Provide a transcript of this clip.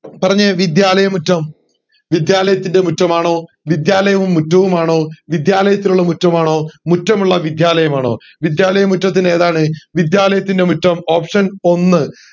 പറഞ്ഞെ വിദ്യാലയമുറ്റം വിദ്യാലയത്തിൻറെ മുറ്റമാണോ വിദ്യാലയവും മുറ്റവുമാണോ വിദ്യാലയത്തിലുള്ള മുറ്റമാണോ മുറ്റമുള്ള വിദ്യാലയമാണോ വിദ്യാലയമുറ്റത്തിൻറെ ഏതാണ് option ഒന്ന്